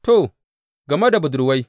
To, game da budurwai.